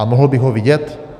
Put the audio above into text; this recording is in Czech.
A mohl bych ho vidět?